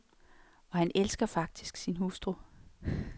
Og han elsker faktisk sin hustru.